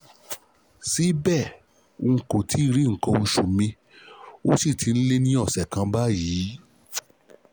Síbẹ̀, n kò tíì rí nǹkan oṣù mi, ó sì ti lé ní ọ̀sẹ̀ kan báyìí